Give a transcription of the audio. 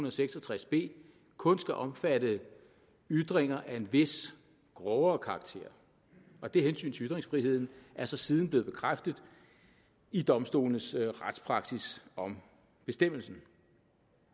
og seks og tres b kun skal omfatte ytringer af en vis grovere karakter og det hensyn til ytringsfriheden er så siden blevet bekræftet i domstolenes retspraksis om bestemmelsen